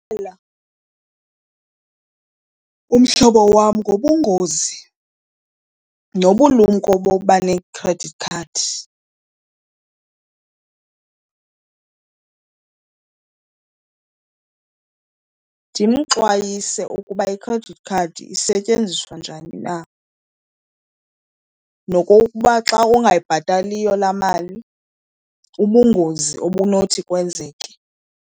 umhlobo wam ngobungozi nobulumko boba ne-credit card. Ndimxwayise ukuba i-credit card isetyenziswa njani na nokokuba xa ungayibhataliyo laa mali ubungozi obunothi kwenzeke.